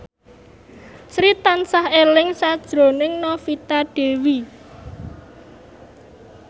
Sri tansah eling sakjroning Novita Dewi